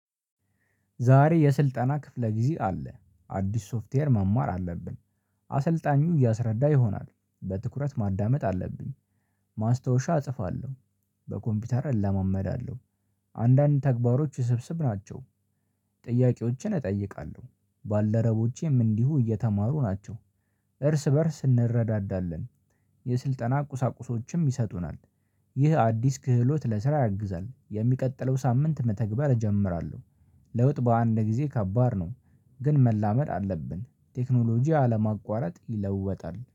ዛሬ የስልጠና ክፍለ ጊዜ አለ አዲስ ሶፍትዌር መማር አለብን። አሰልጣኙ እያስረዳ ይሆናል፤ በትኩረት ማዳመጥ አለብኝ፤። ማስታወሻ እጽፋለሁ፤። በኮምፒውተር እለማመዳለሁ፤። አንዳንድ ተግባሮች ስብስብ ናቸው፤። ጥያቄዎችን እጠይቃለሁ፤ ባልደረቦቼም እንዲሁ እየተማሩ ናቸው፤። እርስ በእርስ እንረዳዳለን፤። የስልጠና ቁሳቁሶችም ይሰጡናል፤። ይህ አዲስ ክህሎት ለስራ ያግዛል፤። የሚቀጥለው ሳምንት መተግባር እጀምራለሁ፤። ለውጥ በአንድ ጊዜ ከባድ ነው፤። ግን መላመድ አለብን፤። ቴክኖሎጂ አለማቋረጥ ይለወጣል፤